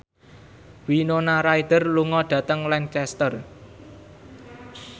Winona Ryder lunga dhateng Lancaster